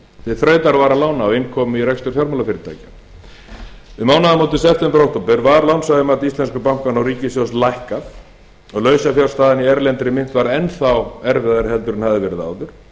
til þrautavara lána og inn kom í rekstur fjármálafyrirtækja um mánaðamótin september til október var lánshæfismat íslensku bankanna og ríkissjóðs lækkað og lausafjárstaðan í erlendri mynt varð enn erfiðari heldur en hún hafði verið áður